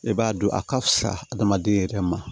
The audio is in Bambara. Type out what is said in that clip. E b'a dɔn a ka fisa adamaden yɛrɛ ma